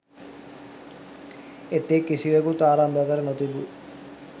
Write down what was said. එතෙක් කිසිවකුත් ආරම්භ කර නොතිබූ